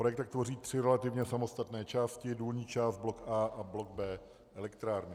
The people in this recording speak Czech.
Projekt tak tvoří tři relativně samostatné části: důlní část, blok A a blok B elektrárny.